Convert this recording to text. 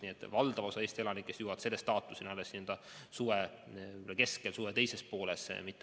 Nii et valdav osa Eesti elanikest jõuab selle staatuseni alles suve keskel või suve teises pooles.